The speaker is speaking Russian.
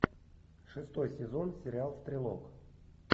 шестой сезон сериал стрелок